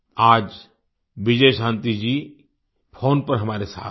आज विजयशांति जी फ़ोन पर हमारे साथ हैं